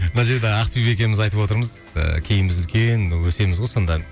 мына жерді ақбибі екеуміз айтып отырмыз ыыы кейін біз үлкен өсеміз ғой сонда